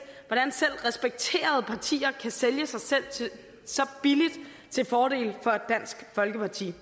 hvordan selv respekterede partier kan sælge sig selv så billigt til fordel for dansk folkeparti